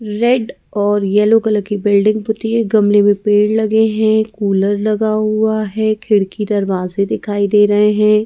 Red और yellow colour की building होती है गमले में पेड़ लगे हैं कूलर लगा हुआ है खिड़की दरवाजे दिखाई दे रहे हैं ।